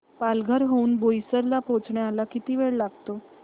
पालघर हून बोईसर ला पोहचायला किती वेळ लागतो